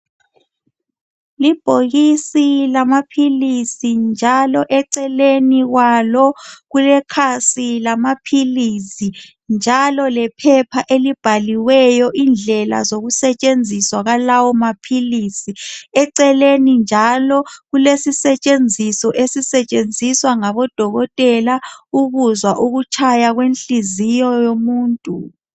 Libhokisi lamaphilisi njalo eceleni kwalo kulekhasi lamaphilisi njalo lephepha elibhaliweyo indlela zokusetshenziswa kwalawo maphilisi ecelelni njalo kulesisetshenziso esisetshenziswa ngabodokotela ukuzwa ukutshaya kwenhliziyo yomuntu.